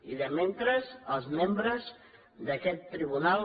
i mentrestant els membres d’aquest tribunal